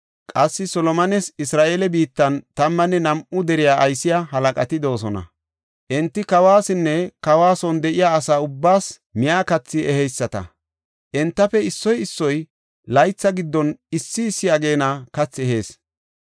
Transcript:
Qassi Solomones Isra7eele biittan tammanne nam7u dere aysiya halaqati de7oosona; enti kawasinne kawa son de7iya asa ubbaas miya katha eheyisata. Entafe issoy issoy laytha giddon issi issi ageena kathi ehees.